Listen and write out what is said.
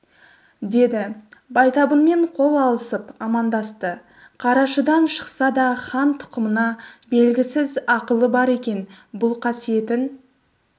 деді байтабынмен қол алысып амандасты қарашыдан шықса да хан тұқымына бергісіз ақылы бар екен бұл қасиетін